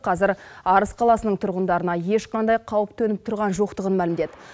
қазір арыс қаласының тұрғындарына ешқандай қауіп төніп тұрған жоқтығын мәлімдеді